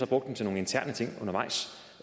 brugt den til nogle interne ting undervejs